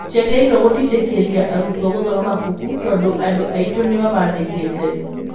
Tũtiagĩrĩirũo gũtindĩkĩrĩria arutwo gũthoma mabuku tondũ andũ aitũ nĩo maandĩkĩte.